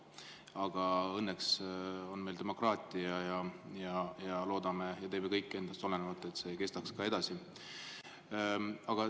Aga õnneks on meil demokraatia ja me loodame ja teeme kõik endast oleneva, et see kestaks ka edasi.